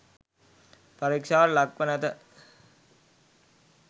පරීක්ෂාවට ලක්ව නැත